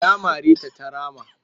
Ya mare ta ta rama